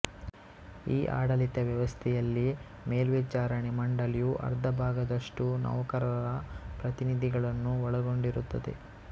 ಈ ಆಡಳಿತ ವ್ಯವಸ್ಥೆಯಲ್ಲಿ ಮೇಲ್ವಿಚಾರಣೆ ಮಂಡಳಿಯು ಅರ್ಧಭಾಗದಷ್ಟು ನೌಕರರ ಪ್ರತಿನಿಧಿಗಳನ್ನು ಒಳಗೊಂಡಿರುತ್ತದೆ